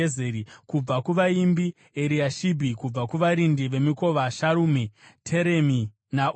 Kubva kuvaimbi: Eriashibhi. Kubva kuvarindi vemikova: Sharumi, Teremi naUri.